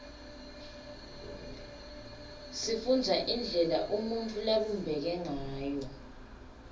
sifundza indlela umuntfu labumbeke ngayo